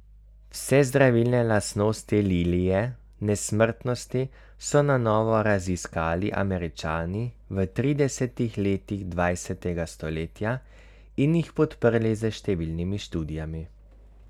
Vse zdravilne lastnosti lilije nesmrtnosti so na novo raziskali Američani v tridesetih letih dvajsetega stoletja in jih podprli s številnimi študijami.